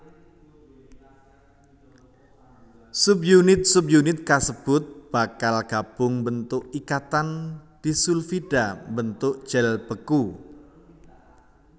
Subunit subunit kasebut bakal gabung mbentuk ikatan disulfida mbentuk gel beku